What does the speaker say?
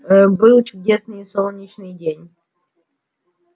ээ был чудесный солнечный день